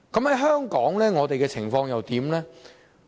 那香港的情況又如何？